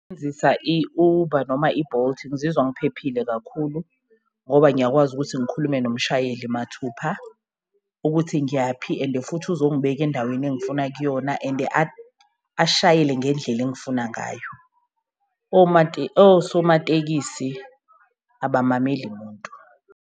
I-Uber noma i-Bolt ngizizwa ngiphephile kakhulu ngoba ngiyakwazi ukuthi ngikhulume nomshayeli mathupha ukuthi ngiyaphi, and futhi uzongibeka endaweni engifuna kuyona and ashayele ngendlela engifuna ngayo. Osomatekisi abamameli muntu.